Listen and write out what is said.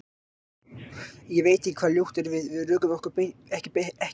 Ég veit ekki hvað ljótt er, að við rökum okkur ekki fyrir leik?